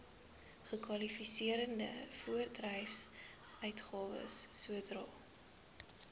kwalifiserende voorbedryfsuitgawes sodra